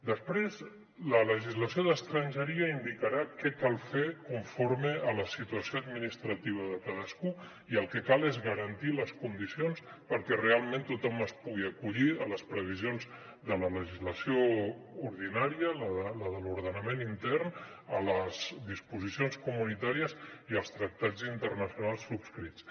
després la legislació d’estrangeria indicarà què cal fer conforme a la situació administrativa de cadascú i el que cal és garantir les condicions perquè realment tothom es pugui acollir a les previsions de la legislació ordinària la de l’ordenament intern a les disposicions comunitàries i als tractats internacionals subscrits